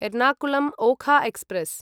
Ernakulam Okha express